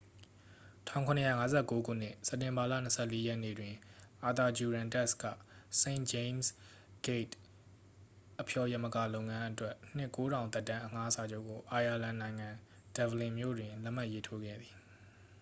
1759 ခုနှစ် စက်တင်ဘာလ 24 ရက်နေ့တွင် အာသာဂျူရန်တက်စ် က st james' gate အဖျော်ယမကာလုပ်ငန်းအတွက် နှစ် 9,000 သက်တမ်းအငှားစာချုပ်ကို အိုင်ယာလန်နိုင်ငံ ဒဗ္ဗလင်မြို့တွင် လက်မှတ်ရေးထိုးခဲ့သည်